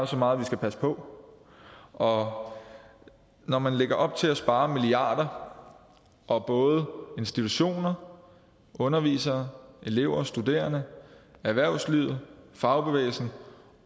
så meget vi skal passe på og når man lægger op til at spare milliarder og både institutioner undervisere elever og studerende erhvervslivet fagbevægelsen